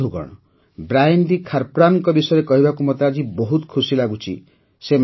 ବନ୍ଧୁଗଣ ବ୍ରାୟନ୍ ଡ଼ି ଖାରପ୍ରନ୍ଙ୍କ ବିଷୟରେ କହିବାକୁ ମୋତେ ଆଜି ବହୁତ ଖୁସି ଲାଗୁଛି